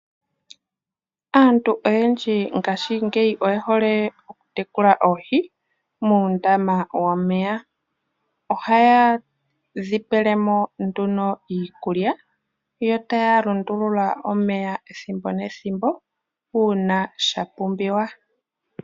Aantu oyendji ngashingeyi oye hole oku tekula oohi muundama womeya. Ohaye dhi pelemo nduno iikulya, yo taya lundulula omeya ethimbo nethimbo uuna shapumbiwa.